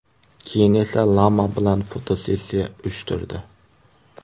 Keyin esa lama bilan fotosessiya uyushtirdi.